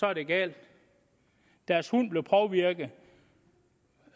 er det galt deres hund blev påvirket